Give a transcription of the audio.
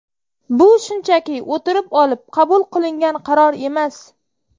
Bu shunchaki o‘tirib olib qabul qilingan qaror emas.